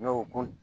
N'o ko